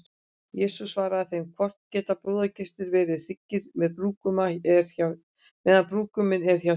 Jesús svaraði þeim: Hvort geta brúðkaupsgestir verið hryggir, meðan brúðguminn er hjá þeim?